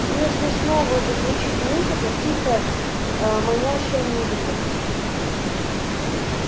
если снова зазвучит музыка тихая аа манящая музыка